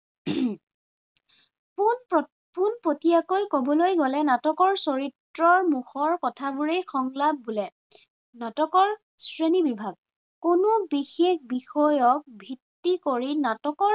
পোনপটীয়াকৈ কবলৈ গলে নাটকৰ চৰিত্ৰৰ মুখৰ কথাবোৰেই সংলাপ বোলে। নাটকৰ শ্ৰেণী বিভাগ- কোনো বিশেষ বিষয়ক ভিত্তি কৰি নাটকৰ